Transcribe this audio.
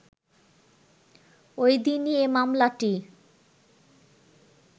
ওই দিনই এ মামলাটি